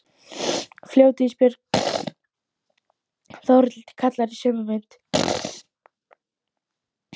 Fljót Ísbjörg, heyri ég Þórhildi kalla í sömu mund.